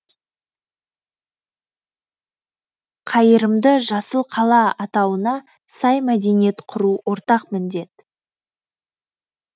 қайырымды жасыл қала атауына сай мәдениет құру ортақ міндет